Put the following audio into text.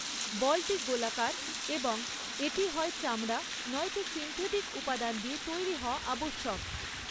বলটি গোলাকার এবং এটি হয় চামড়া নয়তো সিন্থেটিক উপাদান দিয়ে তৈরি হওয়া আবশ্যক।